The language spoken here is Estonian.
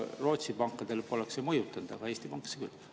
Rootsi pankasid poleks see mõjutanud, Eesti pankasid aga küll.